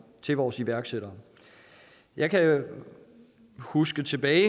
til vores iværksættere jeg kan huske tilbage